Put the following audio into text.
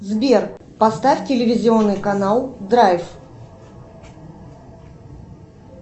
сбер поставь телевизионный канал драйв